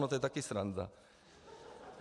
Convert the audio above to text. No to je taky sranda.